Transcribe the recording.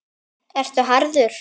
Ertu harður?